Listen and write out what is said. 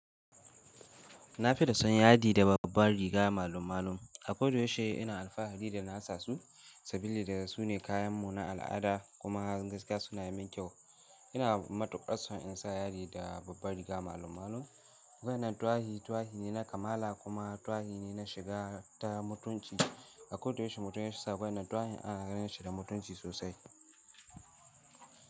Na fi da son yadi da babban riga malum-malum. Akoda yaushe ina alfahari da na sa su, sabili da su ne kayanmu na al'ada kuma gaskiya suna yi min kyau. Ina matukar son in sa yadi da babban riga malum-malum. Wayannen tuwahi ne na kamala kuma tuwahi ne na shiga ta mutunci. Akoda yaushe mutum ya sa wayannen tuwahi ana ganin shi da mutunci sosai.